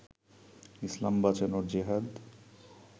ইসলাম বাঁচানোর জেহাদ